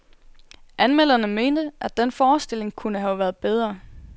Anmelderne mente, at den forestilling kunne have været bedre.